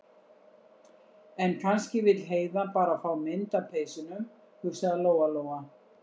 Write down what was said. En kannski vill Heiða bara fá mynd af peysunum, hugsaði Lóa- Lóa.